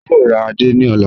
A yòò rà àdé ní ọlá.